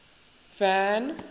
van